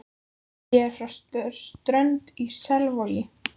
Ég er frá Strönd í Selvogi.